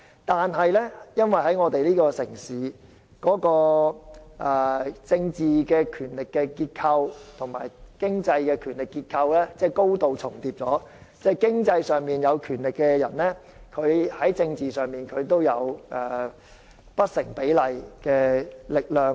但是，在我們這個城市，政治權力結構與經濟權力結構高度重疊，即在經濟上有權力的人，在政治上也擁有不成比例的力量。